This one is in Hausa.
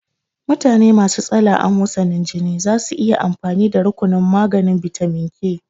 Mutane masu tsala amosanin jini zasu iya amfani da rukunin maganin bitamin K